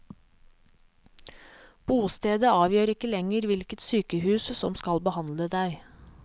Bostedet avgjør ikke lenger hvilket sykehus som skal behandle deg.